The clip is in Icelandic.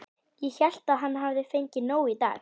Ég hélt að hann hefði fengið nóg í dag.